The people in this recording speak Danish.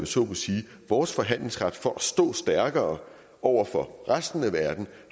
så må sige vores forhandlingsret for at stå stærkere over for resten af verden